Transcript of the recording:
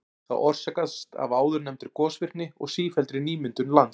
Það orsakast af áðurnefndri gosvirkni og sífelldri nýmyndun lands.